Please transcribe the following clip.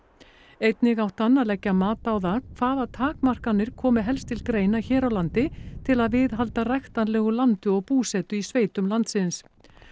einnig átti hann að leggja mat á það hvaða takmarkanir komi helst til greina hér á landi til að viðhalda ræktanlegu landi og búsetu í sveitum landsins